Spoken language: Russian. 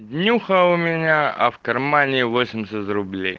днюха у меня а в кармане восемьдесят рублей